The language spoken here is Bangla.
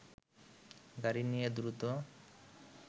গাড়ি নিয়ে দ্রুত